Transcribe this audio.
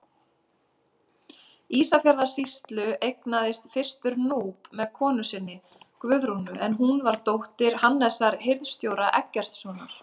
Ísafjarðarsýslu, eignaðist fyrstur Núp með konu sinni, Guðrúnu, en hún var dóttir Hannesar hirðstjóra Eggertssonar.